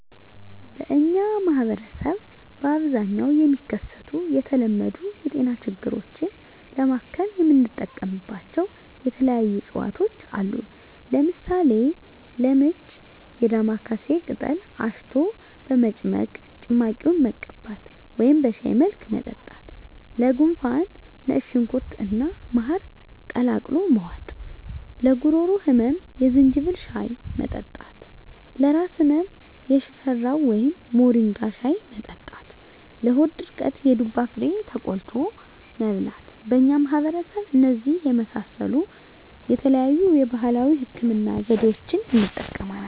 በእኛ ማህበረሰብ በአብዛኛው የሚከሰቱ የተለመዱ የጤና ችግሮችን ለማከም የምንጠቀምባቸው የተለያዩ የእፅዋት አይነቶች አሉ። ለምሳሌ፦ -ለምች የዳማካሴ ቅጠል አሽቶ በመጭመቅ ጭማቂውን መቀባት ወደም በሻይ መልክ መጠጣት -ለጉንፋን ነጭ ሽንኩርት እና ማር ቀላቅሎ መዋጥ -ለጉሮሮ ህመም የዝንጅብል ሻይ መጠጣት -ለራስ ህመም የሽፈራው ወይም ሞሪንጋ ሻይ መጠጣት -ለሆድ ድርቀት የዱባ ፍሬ ተቆልቶ መብላት በእኛ ማህበረሰብ እነዚህን የመሳሰሉ የተለያዩ የባህላዊ ህክምና ዘዴዋችን እንጠቀማለን።